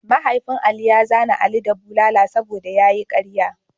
Mahaifin Ali ya zane ali da bulala saboda ya yi ƙarya.